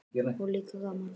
Og líka gaman.